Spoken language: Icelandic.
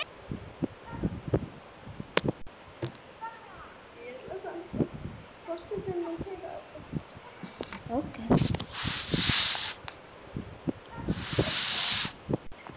Hverjir skoruðu mörkin?